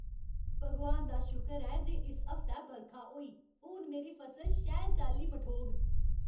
भगवान दा शुकर ऐ जे इस हफ्तै बरखा होई। हून मेरी फसल शैल चाल्ली मठोग।